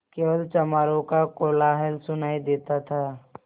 केवल चमारों का कोलाहल सुनायी देता था